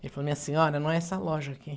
Ele falou, minha senhora, não é essa loja aqui.